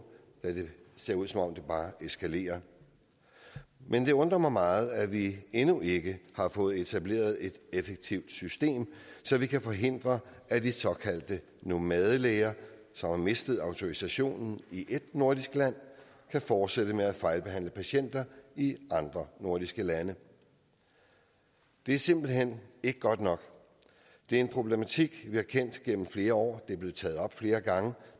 da det ser ud som om det bare eskalerer men det undrer mig meget at vi endnu ikke har fået etableret et effektivt system så vi kan forhindre at de såkaldte nomadelæger som har mistet autorisationen i ét nordisk land kan fortsætte med at fejlbehandle patienter i andre nordiske lande det er simpelt hen ikke godt nok det er en problematik vi har kendt gennem flere år det er blevet taget op flere gange